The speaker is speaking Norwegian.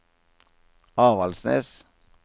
Avaldsnes